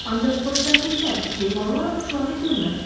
Ancaq xoşbəxtlikdən heyvanlar ovçuları görmədilər.